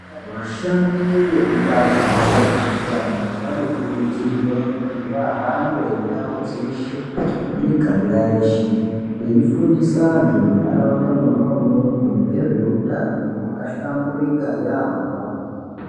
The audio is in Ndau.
Vashandi vekubazi rezveutano vanokurudzirwa kuti vahambe ndau dzeshe, miganga yeshe veifundisa antu munharaunda mwona umwomwo ngezveutano hwakahlamburika yamho.